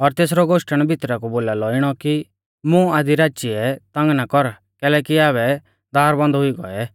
और तेसरौ गोश्टण भितरा कु बोलालौ इणौ कि मुं आधी राचीऐ तंग ना कर कैलैकि आबै दार बंद हुई गौऐ